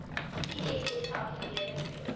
iss geaffilieerde buro